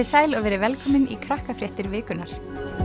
sæl og verið velkomin í Krakkafréttir vikunnar